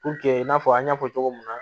i n'a fɔ an y'a fɔ cogo min na